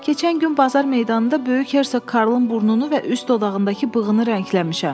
Keçən gün bazar meydanında böyük Hersoq Karlın burnunu və üst dodağındakı bığını rəngləmişəm.